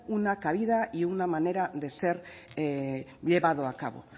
una cabida y una manera de ser llevado a cabo